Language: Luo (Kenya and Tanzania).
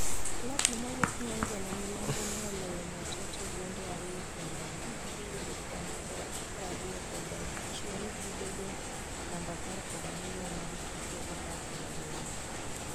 klab no mawuok Nyanza ma milambo ne Oloyo Mwatate gonde ariyo kuomnono magi yudo kwan prariyokod achiel gibedo namba apar kod ariyo mag tuke apar kod abiriyo